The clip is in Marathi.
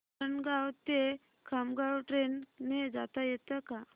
वरणगाव ते खामगाव ट्रेन ने जाता येतं का